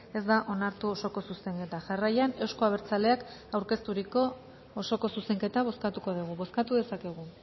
ez da onartu osoko zuzenketa jarraian euzko abertzaleak aurkezturiko osoko zuzenketa bozkatuko dugu bozkatu dezakegu